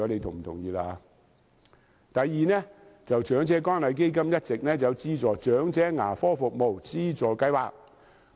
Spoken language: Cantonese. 第二，長者關愛基金一直設有長者牙科服務資助計劃。